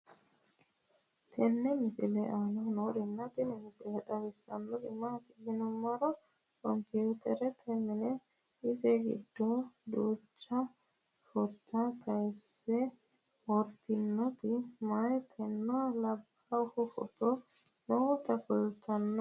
tenne misile aana noorina tini misile xawissannori maati yinummoro computerette minne ise giddo duuchcha footta kayiinse woroonnitti mayiittinna labbahu footto nootta kulittanno